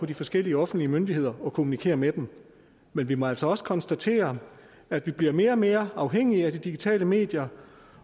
de forskellige offentlige myndigheder og kommunikere med dem men vi må altså også konstatere at vi bliver mere og mere afhængige af de digitale medier